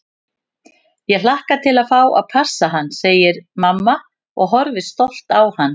Ég hlakka til að fá að passa hann, segir mamma og horfir stolt á hann.